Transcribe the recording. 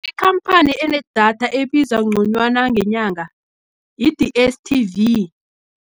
Ikhamphani enedatha ebiza ngconywana, ngenyanga yi-D_S_T_V.